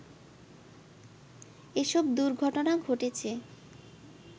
এসব দুর্ঘটনা ঘটেছে